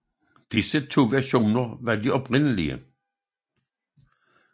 Disse to versioner var de oprindelige